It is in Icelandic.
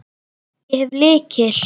Ég hef lykil.